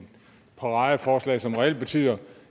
paradeforslag som reelt betyder